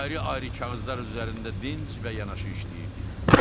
Ayrı-ayrı kağızlar üzərində dinc və yanaşı işləyirdik.